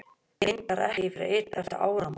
Reyndar ekki fyrr en eftir áramót.